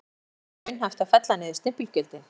En hvenær er þá raunhæft að fella niður stimpilgjöldin?